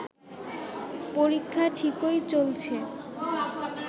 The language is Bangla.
পরীক্ষা ঠিকই চলছে